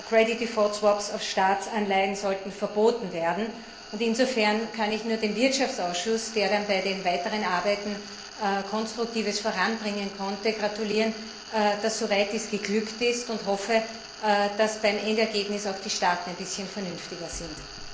Credit Default Swaps auf Staatsanleihen sollten verboten werden. Insofern kann ich nur dem Wirtschaftsausschuss, der bei den weiteren Arbeiten Konstruktives voranbringen konnte, gratulieren, dass dies soweit geglückt ist, und hoffe, dass beim Endergebnis auch die Mitgliedstaaten ein bisschen vernünftiger sind.